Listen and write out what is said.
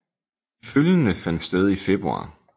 De følgende fandt sted i februar